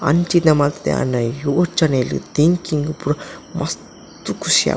ಅಂಚಿದ ಮಲ್ತೆ ಆಂಡ ಆಯೆ ಯೋಚನೆಲ್ ತಿಂಕ್ಂಗ್ ಪೂರ ಮಸ್ತ್ ಖುಷಿ ಆಪುಂಡು.